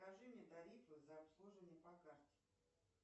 скажи мне тарифы за обслуживание по карте